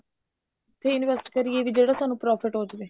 ਕਿੱਥੇ invest ਕਰੀਏ ਜਿਹੜਾ ਸਾਨੂੰ profit ਹੋ ਜਾਵੇ